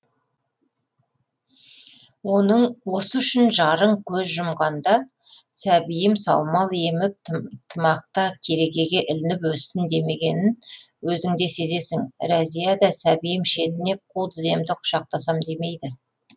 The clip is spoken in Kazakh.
оның осы үшін жарың көз жұмғанда сәбиім саумал еміп тымақта керегеге ілініп өссін демегенін өзің де сезесің рәзия да сәбиім шетінеп қу тіземді құшақтасам демейді